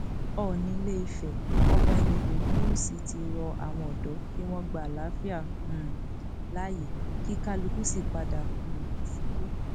oòní ilé ìfẹ ọba ẹnìtàn ogunwúsì ti rọ àwọn ọdọ kí wọn gba àlàáfíà um láàyè kí kálukú sì padà um sílé